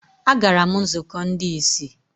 Agara m nzukọ ndị ìsì.